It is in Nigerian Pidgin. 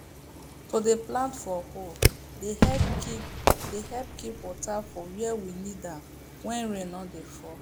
to dey plant for hole dey help keep dey help keep water for where we need am when rain no dey fall